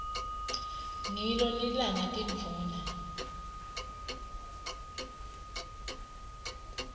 ngilo lilanga tindvuna